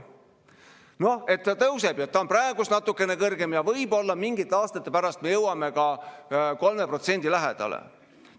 Noh, et ta tõuseb ja ta on praegu natukene kõrgem ja võib-olla mingite aastate pärast me jõuame ka 3% lähedale.